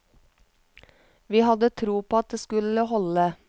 Vi hadde tro på at det skulle holde.